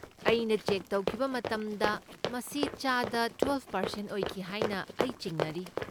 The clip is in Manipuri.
ꯑꯩꯅ ꯆꯦꯛ ꯇꯧꯈꯤꯕ ꯃꯇꯝꯗ ꯃꯁꯤ ꯆꯥꯗ ꯇ꯭ꯋꯦꯜꯚ ꯄꯥꯔꯁꯦꯟꯠ ꯑꯣꯏꯈꯤ ꯍꯥꯏꯅ ꯑꯩ ꯆꯤꯡꯅꯔꯤ꯫